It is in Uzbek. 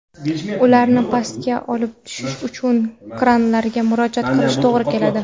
ularni pastga olib tushish uchun kranlarga murojaat qilishga to‘g‘ri keladi.